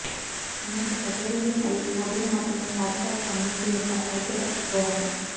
అనేక కచేరీలు మరియు పోటీలు మాత్రమే పాఠశాల కమ్యూనిటీ యొక్క ఐక్యత దోహదం